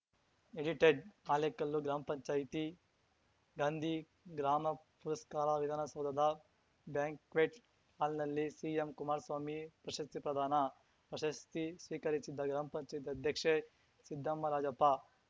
edited Halekallu ಗ್ರಾಮ್ ಪಂಚಾಯ್ತಿ ಗಾಂಧಿ ಗ್ರಾಮ ಪುರಸ್ಕಾರ ವಿಧಾನಸೌಧದ ಬ್ಯಾಂಕ್ವೆಟ್‌ ಹಾಲ್‌ನಲ್ಲಿ ಸಿಎಂ ಕುಮಾರ್ ಸ್ವಾಮಿ ಪ್ರಶಸ್ತಿ ಪ್ರದಾನ ಪ್ರಶಸ್ತಿ ಸ್ವೀಕರಿಸಿದ ಗ್ರಾಮ್ ಪಂಚಾಯ್ತಿ ಅಧ್ಯಕ್ಷೆ ಸಿದ್ದಮ್ಮ ರಾಜಪ್ಪ